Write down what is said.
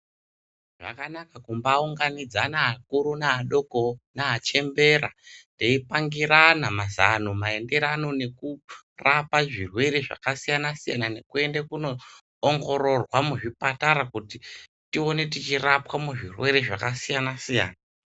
Zvakanaka kumbai unganidzana akuru ne adoko ne achembera tei pangirana mazano maendererano neku rapa zvirwere zvaka siyana siyana neku ende kuno ongororwa mu zvipatara kuti tione tichi rapwa mu zvirwere zvaka siyana siyana.